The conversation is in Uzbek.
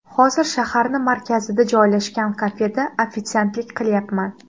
Hozir shaharni markazida joylashgan kafeda ofitsiantlik qilyapman.